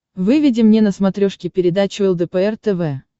выведи мне на смотрешке передачу лдпр тв